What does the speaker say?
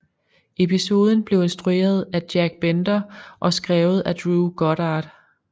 Episoden blev instrueret af Jack Bender og skrevet af Drew Goddard